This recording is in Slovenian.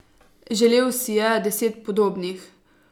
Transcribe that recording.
Želel si je deset podobnih.